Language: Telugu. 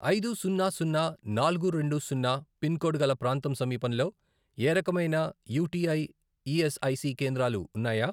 ఐదు, సున్నా, సున్నా, నాలుగు, రెండు, సున్నా, పిన్ కోడ్ గల ప్రాంతం సమీపంలో ఏ రకమైన యుటిఐ ఈఎస్ఐసి కేంద్రాలు ఉన్నాయా?